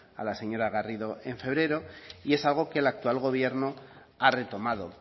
a la señora garrido en febrero y es algo que el actual gobierno ha retomado